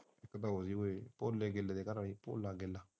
ਕਹਿੰਦਾ ਓਏ ਹੋਏ